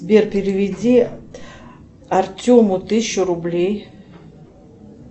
сбер переведи артему тысячу рублей